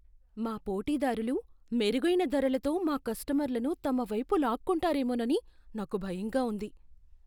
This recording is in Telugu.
మా పోటీదారులు మెరుగైన ధరలతో మా కస్టమర్లను తమ వైపు లాక్కుంటారేమోనని నాకు భయంగా ఉంది.